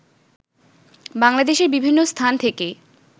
বাংলাদেশের বিভিন্ন স্থান থেকেই